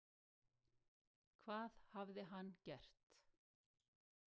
Hvað hafði hann gert?